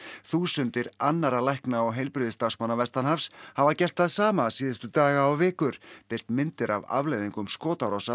þúsundir annarra lækna og heilbrigðisstarfsmanna vestanhafs hafa gert það sama síðustu daga og vikur birt myndir af afleiðingum skotárása